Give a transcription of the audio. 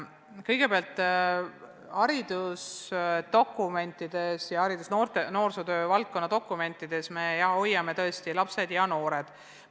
Kõigepealt, haridusdokumentides, sh ka noorsootöö valdkonna dokumentides me hoiame tõesti "lapsed" ja "noored" lahus.